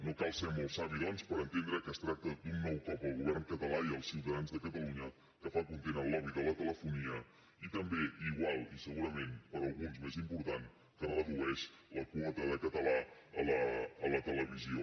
no cal ser molt savi doncs per entendre que es tracta d’un nou cop al govern català i als ciutadans de catalunya que fa content el lobby de la telefonia i també i igual i segurament per alguns més important que redueix la quota de català a la televisió